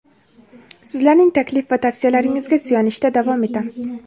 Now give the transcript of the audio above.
sizlarning taklif va tavsiyalaringizga suyanishda davom etamiz.